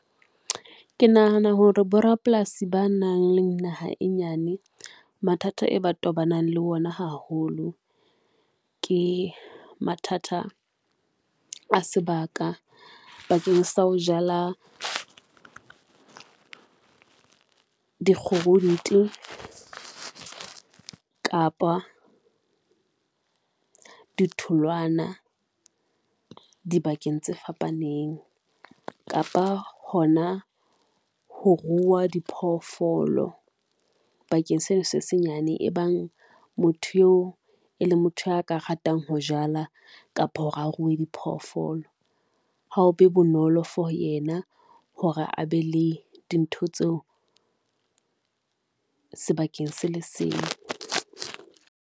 Ke nahana hore bo rapolasi ba nang le naha e nyane mathata e ba tobanang le ona haholo, ke mathata a sebaka bakeng sa ho jala kapa di tholwana, di bakeng tse fapaneng. Kapa hona ho ruwa diphoofolo bakeng seno se senyane e bang motho eo e leng motho a ka ratang ho jala, kapa hore a ruwe diphoofolo ha o be bonolo for yena hore a be le dintho tseo sebakeng se le seng.